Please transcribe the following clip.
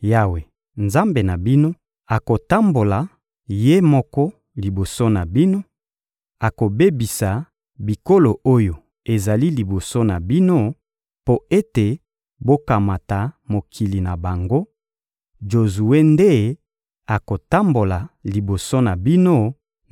Yawe, Nzambe na bino, akotambola Ye moko liboso na bino, akobebisa bikolo oyo ezali liboso na bino mpo ete bokamata mokili na bango; Jozue nde akotambola liboso na bino